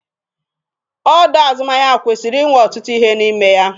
Ọdọ azụmahịa kwesịrị inwe ọtụtụ ihe n'ime ya.